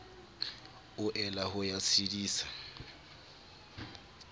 o ela ho ya tshedisa